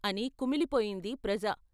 ' అని కుమిలిపోయింది ప్రజ.